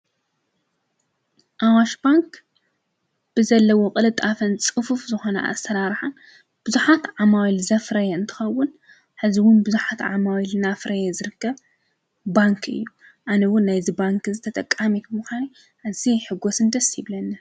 ኣዋሽ ባንክ ብዘለዎ ቅልጣፈን ፅፉፍ ዝኮነ ኣሰራርሓን ቡዙሓት ዓማዊል ዘፍረየ እንትከውን ሕዚ እውን ቡዙሓት ዓማዊል እንዳፍረየ ዝርከብ ባንኪ እዩ። ኣነውን ናይዚ ባንኪ እዙይ ተጠቃሚት ብምካን ኣዝየ ይሕጎስን ደስ ይብለንን።